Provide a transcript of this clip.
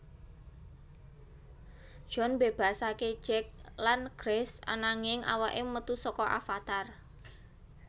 John mbebasake Jake lan Grace ananging awake metu saka avatar